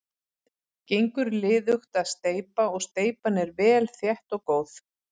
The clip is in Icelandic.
Gengur liðugt að steypa og steypan er vel þétt og góð.